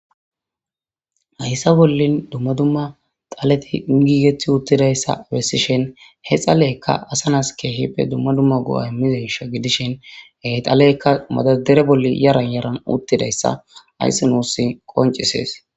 Hayssa bollin dumma dumma dhalleti giigeti uttidayssa bessishin he dhalleykka asa nassi kehippe dumma dumma go'a immizayssa giddishin he dhalleykka madardara boli yaaran yaran uttidayssa hayssi nusi qonccises.